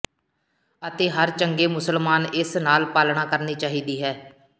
ਅਤੇ ਹਰ ਚੰਗੇ ਮੁਸਲਮਾਨ ਇਸ ਨਾਲ ਪਾਲਣਾ ਕਰਨੀ ਚਾਹੀਦੀ ਹੈ